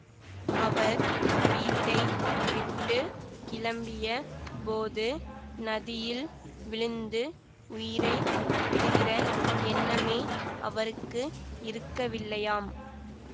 அவர் வீட்டை விட்டு கிளம்பிய போது நதியில் விழுந்து உயிரை விடுகிற எண்ணமே அவருக்கு இருக்கவில்லையாம்